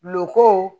Lukɔko